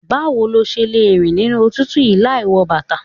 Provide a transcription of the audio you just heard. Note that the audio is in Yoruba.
Báwo lo ṣe lẹ ń rìn nínú òtútù yí láì wọ bàtà.